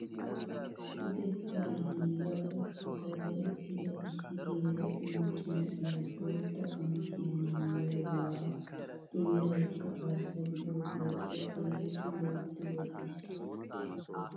Utettaa giiga qochchu gaada uttida issi geela'o macca na'iyaa bootta qamisiyaa maayoogara i meraykka arssa gididagee o keehippe loytti wottiis!